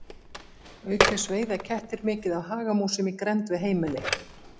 Auk þess veiða kettir mikið af hagamúsum í grennd við heimili.